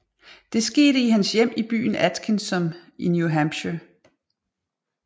Det skete i hans hjem i byen Atkinsom i New Hampshire